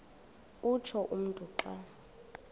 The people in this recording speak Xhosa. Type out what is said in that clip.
utsho umntu xa